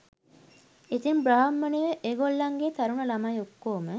ඉතින් බ්‍රාහ්මණයෝ ඒගොල්ලන්ගේ තරුණ ළමයි ඔක්කෝම